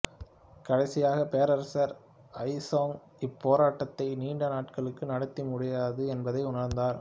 கடைசியாக பேரரசர் அயிசோங் இப்போராட்டத்தை நீண்ட நாட்களுக்கு நடத்த முடியாது என்பதை உணர்ந்தார்